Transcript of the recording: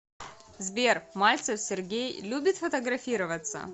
сбер мальцев сергей любит фотографироваться